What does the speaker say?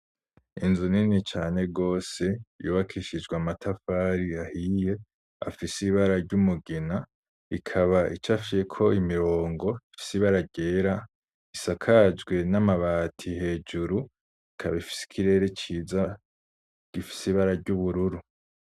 Inzu nini cane rwose yubakishijwe amatafari ahiye afise ibara ry'umugina ikaba icafyeko imirongo ifise ibara ryera isakajwe n'amati hejuru ikaba ifise ikirere ciza gifise ibara ry'ubururu.